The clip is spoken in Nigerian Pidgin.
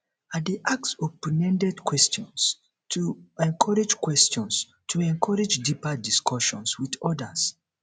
i dey ask openended questions to encourage questions to encourage deeper discussions with others